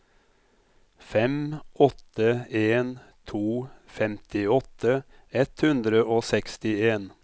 fem åtte en to femtiåtte ett hundre og sekstien